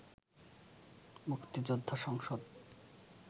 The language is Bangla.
মুক্তিযোদ্ধা সংসদ